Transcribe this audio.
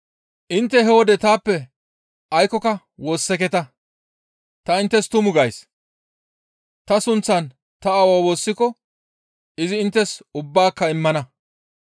«Intte he wode taappe aykkoka woosseketa; ta inttes tumu gays; ta sunththan ta aawaa woossiko izi inttes ubbaaka immana.